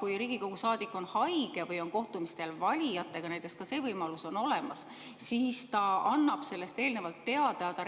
Kui Riigikogu saadik on haige või on näiteks kohtumisel valijatega – ka see võimalus on olemas –, siis ta annab sellest eelnevalt teada, ta